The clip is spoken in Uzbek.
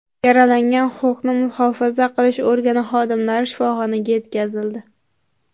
Yaralangan huquqni muhofaza qilish organi xodimlari shifoxonaga yetkazildi.